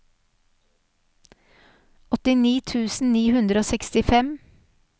åttini tusen ni hundre og sekstifem